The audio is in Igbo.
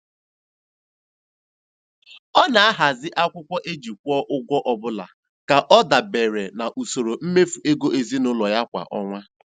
Ọ na-ahazi akwụkwọ e ji kwụọ ụgwọ ọbụla ka ọ dabere n'usoro mmefu ego ezinụụlọ ya kwa ọnwa.